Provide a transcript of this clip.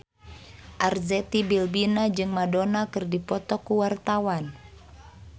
Arzetti Bilbina jeung Madonna keur dipoto ku wartawan